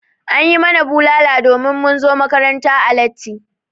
An yi mana bulala domin mun zo makaranta latti.